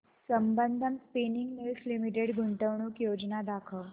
Sambandam spinning mills limited गुंतवणूक योजना दाखव